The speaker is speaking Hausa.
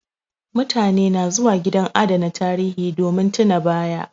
Mutane na zuwa gidan adana tarihi, domin tuna ba ya